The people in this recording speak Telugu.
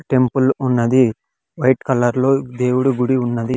టెంపుల్ ఉన్నది వైట్ కలర్ లో దేవుడు గుడి ఉన్నది.